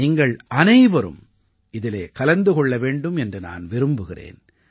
நீங்கள் அனைவரும் இதிலே கலந்து கொள்ள வேண்டும் என்று நான் விரும்புகிறேன்